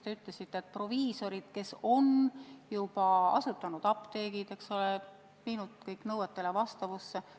Te ütlesite, et proviisorid, kes on juba apteegid asutanud ja viinud need nõuetele vastavusse.